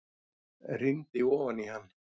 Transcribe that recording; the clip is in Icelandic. Rýndi ofan í hann.